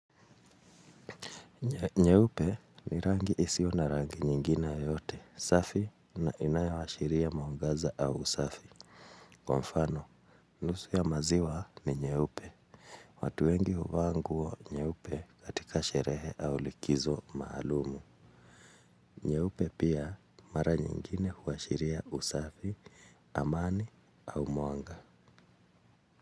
Nyeupe ni rangi isiyo na rangi nyingine yoyote, safi na inayoashiria mwangaza au usafi. Kwa mfano, nusu ya maziwa ni nyeupe. Watu wengi huvaa nguo nyeupe katika sherehe au likizo maalumu. Nyeupe pia mara nyingine huashiria usafi, amani au mwanga.